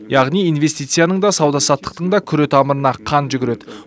яғни инвестицияның да сауда саттықтың да күре тамырына қан жүгіреді